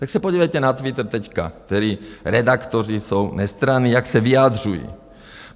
Tak se podívejte na Twitter teď, kteří redaktoři jsou nestranní, jak se vyjadřují.